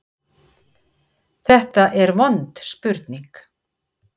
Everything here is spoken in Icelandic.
Þetta er vond spurning.